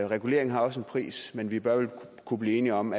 regulering har også en pris men vi bør vel kunne blive enige om